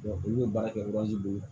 olu bɛ baara kɛ bolo